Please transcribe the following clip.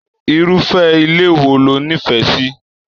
Irufẹ ilé wò lo n'ifẹ sí?